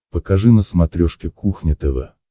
покажи на смотрешке кухня тв